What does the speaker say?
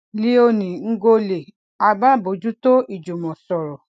léonie ngolle alábòójútó ìjùmọsọrọ